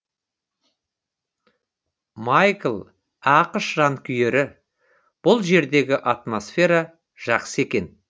майкл ақш жанкүйері бұл жердегі атомсфера жақсы екен